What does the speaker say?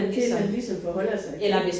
Det man ligesom forholder sig til